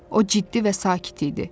O ciddi və sakit idi.